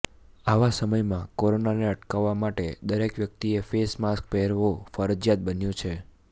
આવા સમયમાં કોરોનાને અટકાવવા માટે દરેક વ્યક્તિએ ફેસ માસ્ક પહેરવું ફરજિયાત બન્યું છે